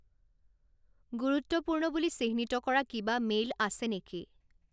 গুৰুত্বপূৰ্ণ বুলি চিহ্নিত কৰা কিবা মেইল আছে নেকি